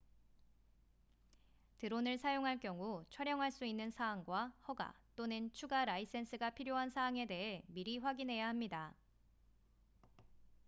드론을 사용할 경우 촬영할 수 있는 사항과 허가 또는 추가 라이센스가 필요한 사항에 대해 미리 확인해야 합니다